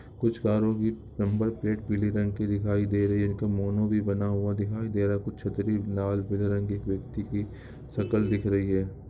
कुछ कारो की नंबर प्लेट पिले रंग की दिखाई दे रही है भी बना हुआ दिखाई दे रहा है कुछ छत्तरी लाल पिले रंग की शकल दिख रही है।